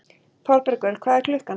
Þorbergur, hvað er klukkan?